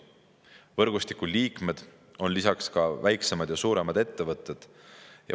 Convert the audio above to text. Võrgustiku liikmed on ka väiksemad ja suuremad ettevõtted.